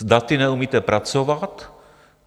S daty neumíte pracovat.